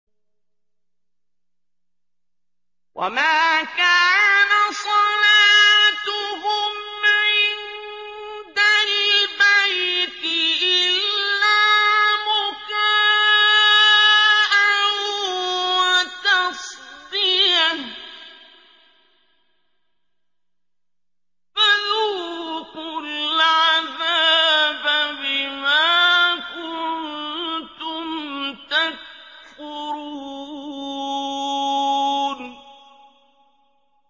وَمَا كَانَ صَلَاتُهُمْ عِندَ الْبَيْتِ إِلَّا مُكَاءً وَتَصْدِيَةً ۚ فَذُوقُوا الْعَذَابَ بِمَا كُنتُمْ تَكْفُرُونَ